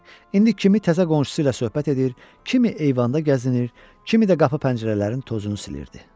İndi kimi təzə qonşusu ilə söhbət edir, kimi eyvanda gəzinir, kimi də qapı pəncərələrin tozunu silirdi.